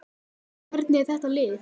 En hvernig er þetta lið?